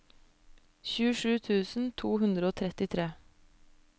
tjuesju tusen to hundre og trettitre